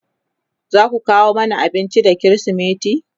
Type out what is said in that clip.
zaku kawo Mani abinci da krismeti?